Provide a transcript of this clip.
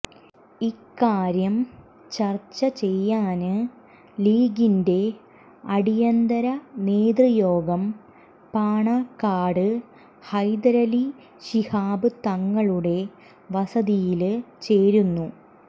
ഇക്കാര്യം ചര്ച്ച ചെയ്യാന് ലീഗിന്റെ അടിയന്തര നേതൃയോഗം പാണക്കാട് ഹൈദരലി ശിഹാബ്് തങ്ങളുടെ വസതിയില് ചേരുന്നു